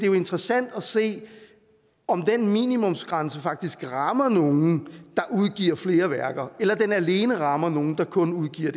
jo interessant at se om den minimumsgrænse faktisk rammer nogle der udgiver flere værker eller om den alene rammer nogle der kun udgiver